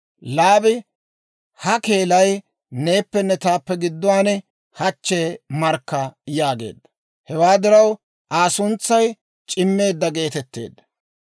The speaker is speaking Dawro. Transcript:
Laabi, «Ha keelay neeppenne taappe gidduwaan hachche markka» yaageedda. Hewaa diraw Aa suntsay C'imeedda geetetteedda.